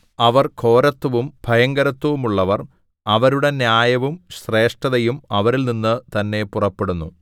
അവർ ഘോരത്വവും ഭയങ്കരത്വവുമുള്ളവർ അവരുടെ ന്യായവും ശ്രേഷ്ഠതയും അവരിൽനിന്ന് തന്നെ പുറപ്പെടുന്നു